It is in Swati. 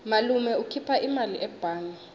malume ukhipha imali ebhange